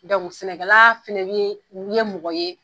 sɛnɛkɛla fana bi ye mɔgɔ ye